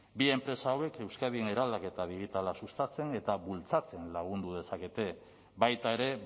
bi enpresa hauek euskadin eraldaketa digitala sustatzen eta bultzatzen lagundu dezakete baita ere